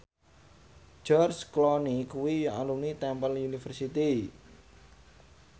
George Clooney kuwi alumni Temple University